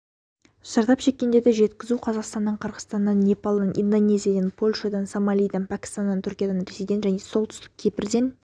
зардап шеккенді жеткізу қазақстаннан қырғызстаннан непалдан индонезиядан польшадан сомалиден пәкістаннан түркиядан ресейден және солтүстік кипрдан